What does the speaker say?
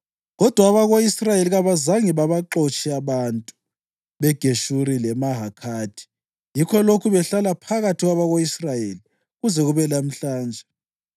Kodwa abako-Israyeli kabazange babaxotshe abantu beGeshuri leMahakhathi, yikho lokhu behlala phakathi kwabako-Israyeli kuze kube lamhlanje.